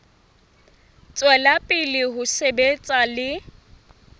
tswela pele ho sebetsa le